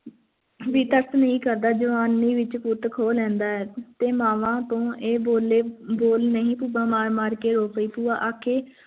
ਤਰਸ ਨਹੀਂ ਕਰਦਾ ਹੈ ਜਵਾਨੀ ਵਿਚ ਪੁਤ ਖੋਹ ਲੈਂਦਾ ਹੈ ਤੇ ਮਾਵਾਂ ਇਹ ਬੋਲੇ ਬੋਲ ਨਹੀਂ ਮਾਰ ਮਾਰ ਕੇ ਰੋ ਪਈ ਭੂਆ ਆਖੇ